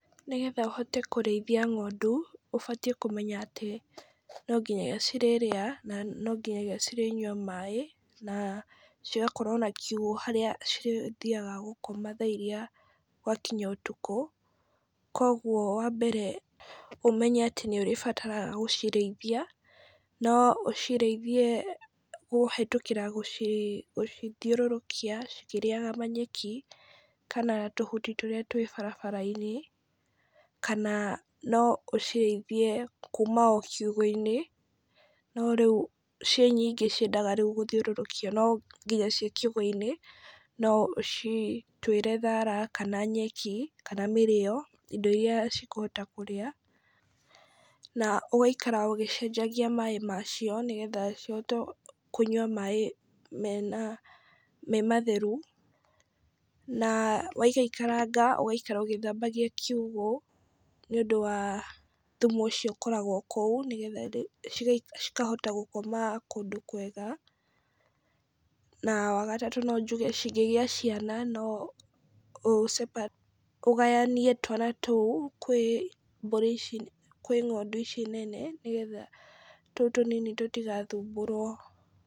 Nĩgetha ũhote kũrĩithia ng'ondũ, ũbatiĩ kũmenya atĩ, no nginya cirĩrĩa na no nginya cirĩnyua maaĩ, na cigakorwo na kiugũ harĩa cirĩthiaga gũkoma thaa iria gwa kinya ũtuku, kũgwo wa mbere ũmenye nĩ atĩ nĩ ũrĩbataraga gũcirĩithia, no ũcirĩithie kũhĩtũkĩra gũcithiũrũrũkia cikĩrĩaga manyeki , kana tũhuti tũrĩa twĩ barabara-inĩ , kana no ũcirĩithie kuma o ciugũ-inĩ, no rĩu ciĩ nyingĩ ciendaga gũthiũrũrũkio, no nginya ciĩ kiugũ-inĩ no ũcituĩre thara kana nyeki, kana mĩrĩo, indo iria cikũhota kũrĩa, na ũgaikara ũgĩcenjagia maaĩ macio , nĩgetha cihote kũnyua maaĩ mena me matheru , na waikaikaranga ũgaikara ũgĩthambagia kiugũ , nĩ ũndũ wa thumu ũcio ũkoragwo kũu, nĩgetha cikahota gũkoma kũndũ kwega, na wagatatũ, no njuge cingĩgĩa ciana no ũce ũgayanie twana tũu kwĩ mbũri ici kwĩ ng'ondũ ici nene ,nĩgetha tũu tũnini tũtigathumbũrwo.